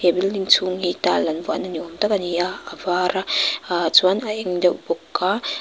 building chhung hi tile an vuahna ni awm tak a ni a a var a chuan a eng deuh bawk a --